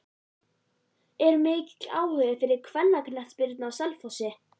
Er mikill áhugi fyrir kvennaknattspyrnu á Selfossi?